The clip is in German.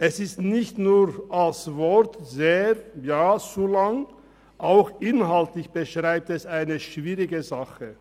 Dieser ist nicht nur als Wort sehr lang, auch inhaltlich beschreibt er eine schwierige Sache.